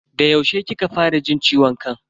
Da yaushe kika fara jin ciwon kan?